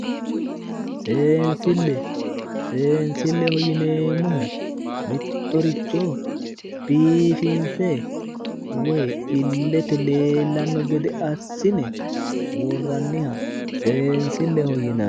seensille seensilleho yineemmohu mittoricho biifinse woyi illete leellanno gede assine worranniha seensilleho yinanni.